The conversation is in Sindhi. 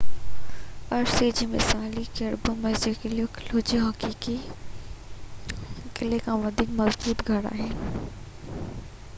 عرصي لاءِ مثالي ڪربي ميڪسلو قلعو هڪ حقيقي قلعي کان وڌيڪ مضبوط گهر آهي